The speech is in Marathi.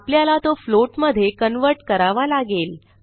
आपल्याला तो फ्लोट मधे कन्व्हर्ट करावा लागेल